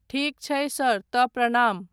ठीक छै सर तँ प्रणाम।